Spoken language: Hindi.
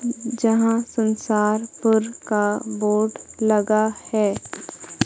जहां संसारपुर का बोर्ड लगा है।